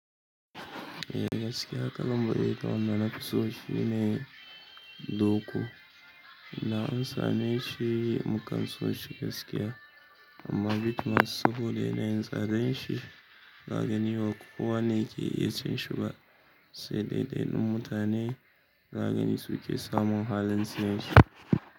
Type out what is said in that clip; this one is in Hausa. Gaskiya kalan mu ɗaya da wanda nafi so shine doko da an same shi mukan suwo shi gaskiya, amma bitmas saboda yanayin tsadan shi, za gani ba kowa ne ke iya cinshi ba sai ɗaiɗaiɗun mutane za gani su ke samun halin siyen shi.